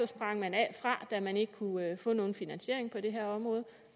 sprang man fra da man ikke kunne få nogen finansiering på det her område